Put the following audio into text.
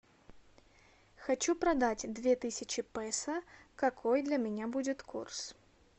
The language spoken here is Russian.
хочу продать две тысячи песо какой для меня будет курс